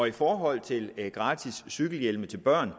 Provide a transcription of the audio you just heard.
i forhold til gratis cykelhjelme til børn